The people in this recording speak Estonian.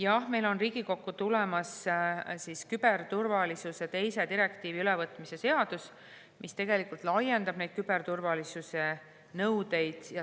" Jah, meil on Riigikokku tulemas küberturvalisuse teise direktiivi ülevõtmise seadus, mis laiendab küberturvalisuse nõudeid.